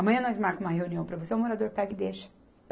Amanhã nós marca uma reunião para você, o morador pega e deixa.